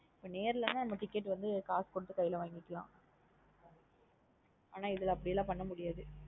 நேரலா லாம் நம்ம ticket வந்து காசு கொடுத்து கைல வாங்கிக்கலாம் அனா இதுல அப்டிலாம் பண்ணா முடியாது.